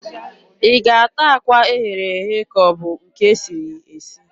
Ị ga-ata akwa e ghere eghe ka ọ bụ nke e siri esi?